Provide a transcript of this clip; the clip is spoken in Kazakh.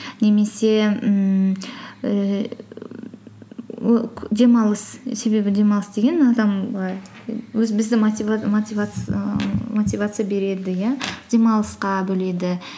немесе ммм ііі демалыс себебі демалыс деген адам бұлай і өз біздің мотивация береді иә демалысқа бөледі